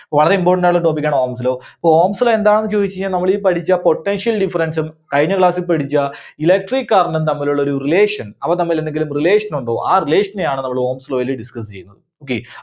വളരെ important ആയിട്ടുള്ള topic ആണ് Ohm's Law. അപ്പോ Ohm's Law എന്താണെന്ന് ചോദിച്ച് കഴിഞ്ഞാൽ നമ്മള് ഈ പഠിച്ച Potential difference ഉം കഴിഞ്ഞ class ൽ പഠിച്ച Electric current ഉം തമ്മിലുള്ള ഒരു relation, അവർ തമ്മിലെന്തെങ്കിലും relation ഉണ്ടോ? ആ relation നെയാണ് നമ്മള് Ohm's Law ൽ discuss ചെയ്യുന്നത്. okay.